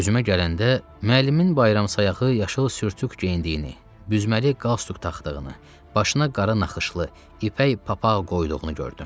Özümə gələndə müəllimin bayramsayağı yaşıl sürtük geyindiyini, büzməli qalstuk taxdığını, başına qara naxışlı, ipək papaq qoyduğunu gördüm.